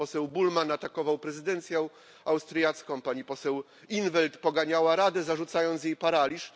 Pan poseł Bullmann atakował prezydencję austriacką, pani poseł in 't Veld poganiała Radę, zarzucając jej paraliż.